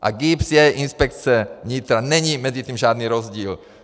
A GIBS je inspekce vnitra, není mezi tím žádný rozdíl.